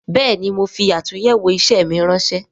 Bẹẹni, mo fi atunyewo isẹ mi ránsẹ́